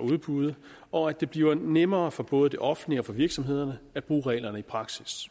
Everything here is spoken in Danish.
udbud og at det bliver nemmere for både det offentlige og for virksomhederne at bruge reglerne i praksis